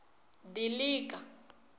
dilika